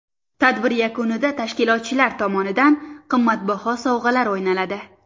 Tadbir yakunida tashkilotchilar tomonidan qimmatbaho sovg‘alar o‘ynaladi.